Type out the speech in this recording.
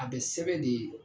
A bɛ sɛbɛn de